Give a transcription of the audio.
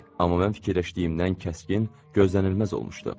Amma mən fikirləşdiyimdən kəskin, gözlənilməz olmuşdu.